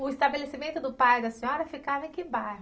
O estabelecimento do pai da senhora ficava em que bairro?